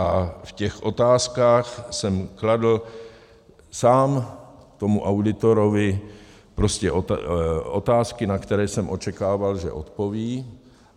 A v těch otázkách jsem kladl sám tomu auditorovi prostě otázky, na které jsem očekával, že odpoví.